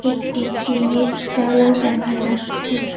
একটি টিনের চালা দেখা যাচ্ছে।